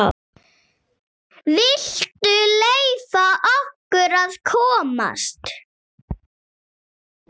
VILTU LEYFA OKKUR AÐ KOMAST!